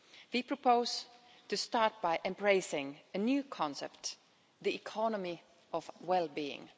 We propose to start by embracing a new concept, the economy of well being'.